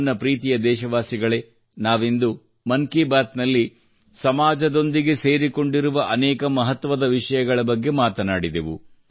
ನನ್ನ ಪ್ರೀತಿಯ ದೇಶವಾಸಿಗಳೇ ನಾವಿಂದು ಮನ್ ಕಿ ಬಾತ್ ನಲ್ಲಿ ಸಮಾಜದೊಂದಿಗೆ ಸೇರಿಕೊಂಡಿರುವ ಅನೇಕ ಮಹತ್ವದ ವಿಷಯಗಳ ಬಗ್ಗೆ ಮಾತನಾಡಿದೆವು